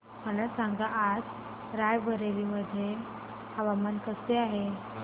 मला सांगा आज राय बरेली मध्ये हवामान कसे आहे